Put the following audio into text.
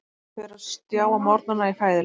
Hún fer á stjá á morgnana í fæðuleit.